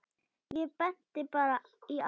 Ég benti bara í áttina.